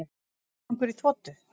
Rottugangur í þotu